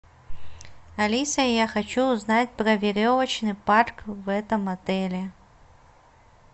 алиса я хочу узнать про веревочный парк в этом отеле